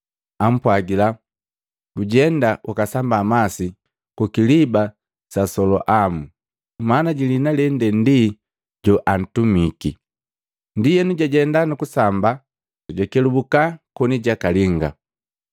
Ampwajila, “Gujenga ukasamba masi ku kiliba sa Soloamu.” Maana jilihina lende ndi “Joantumiki.” Ndienu jajenda nukusamba, jakelubuka koni jakalinga.